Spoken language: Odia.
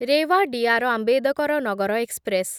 ରେୱା ଡିଆର୍. ଆମ୍ବେଦକର ନଗର ଏକ୍ସପ୍ରେସ୍